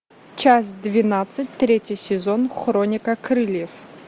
часть двенадцать третий сезон хроника крыльев